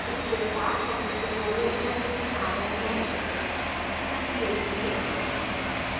इसके साथ हम इस tutorial के अंत में आ गए हैं संक्षेप में